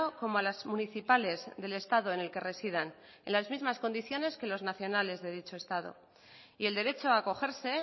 como a las municipales del estado en el que residan en las mismas condiciones que los nacionales de dicho estado y el derecho a acogerse